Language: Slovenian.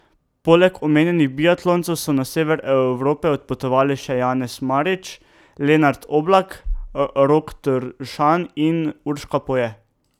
Poleg omenjenih biatloncev so na sever Evrope odpotovali še Janez Marič, Lenart Oblak, Rok Tršan in Urška Poje.